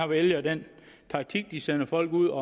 vælger den taktik at de sender folk ud